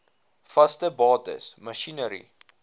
vaste bates masjinerie